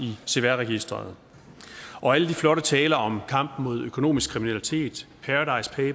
cvr registeret og alle de flotte taler om kampen mod økonomisk kriminalitet